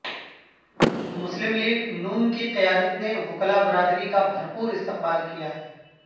مسلم لیگ نون کی قیادت نے وکلاء برادری کا بھرپور استقبال کیا ہے